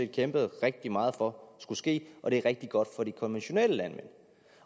kæmpet rigtig meget for skulle ske og det er rigtig godt for de konventionelle landmænd